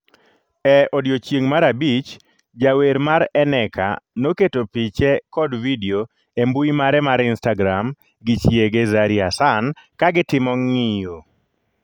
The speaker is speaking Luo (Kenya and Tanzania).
E odiechieng' mar abich, jawer mar Eneka noketo piche kod vidio e mbui mare mar instagram gi chiege Zari Hassan ka gitimo ng'iyo.